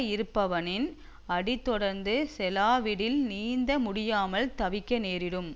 இருப்பவனின் அடி தொடர்ந்து செலாவிடில் நீந்த முடியாமல் தவிக்க நேரிடும்